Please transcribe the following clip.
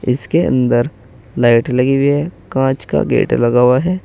इसके अंदर लाइट लगी हुई है कांच का गेट लगा हुआ है।